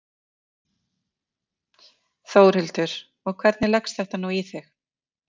Þórhildur: Og hvernig leggst þetta nú í þig?